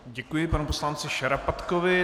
Děkuji panu poslanci Šarapatkovi.